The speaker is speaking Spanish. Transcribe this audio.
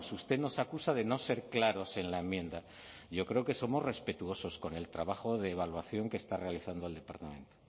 usted nos acusa de no ser claros en la enmienda yo creo que somos respetuosos con el trabajo de evaluación que está realizando el departamento